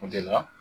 O de la